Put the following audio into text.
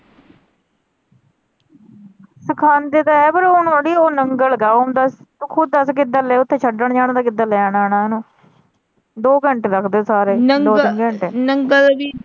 ਸਿਖਾਉਂਦੇ ਤਾਂ ਹੈ ਪਰ ਹੁਣ ਓਹਦੀ ਉਹ ਨੰਗਲ ਤੂੰ ਖੁਦ ਦੱਸ ਕਿੱਦਾਂ ਛੱਡਣ ਜਾਣਾ ਤੇ ਕਿੱਦਾਂ ਲੈਣ ਆਉਣਾ ਦੋ ਘੰਟੇ ਲਗਦੇ ਸਾਰੇ ਨੰਗਲ ਦੋ ਤਿੰਨ ਘੰਟੇ ਨੰਗਲ ਵੀ।